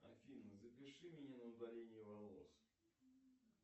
афина запиши меня на удаление волос